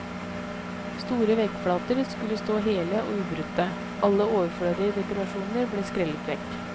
Store veggflater skulle stå hele og ubrutte, alle overflødige dekorasjoner ble skrellet vekk.